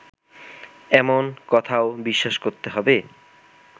এমন কথাও বিশ্বাস করতে হবে